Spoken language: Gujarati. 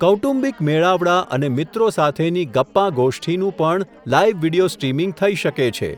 કૌટુંબિક મેળાવડા અને મિત્રો સાથેની ગપ્પાંગોષ્ઠિનું પણ, લાઇવ વિડીયો સ્ટ્રીમિંગ થઇ શકે છે.